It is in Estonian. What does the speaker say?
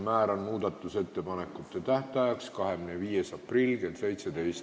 Määran muudatusettepanekute tähtajaks 25. aprilli kell 17.